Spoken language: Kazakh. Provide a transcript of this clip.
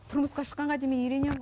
тұрмысқа шыққанға дейін мен үйренемін